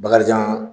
Bakarijan